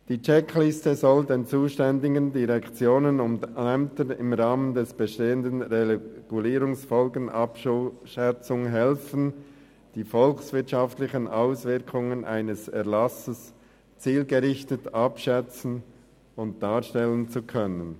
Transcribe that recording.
Die Checkliste soll den zuständigen Direktionen und Ämtern im Rahmen der bestehenden Regulierungsfolgenabschätzung helfen, die volkswirtschaftlichen Auswirkungen eines Erlasses zielgerichtet abschätzen und darstellen zu können.